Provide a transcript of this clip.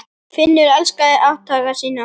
Finnur elskaði átthaga sína.